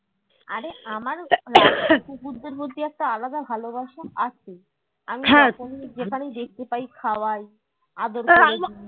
আরে আমার ও কুকুরদের প্রতি একটা আলাদা ভালোবাসা আছে আমি যেখানেই দেখতে পাই খাওয়াই আদর